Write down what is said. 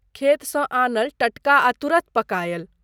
खेतसँ आनल टटका आ तुरत पकायल।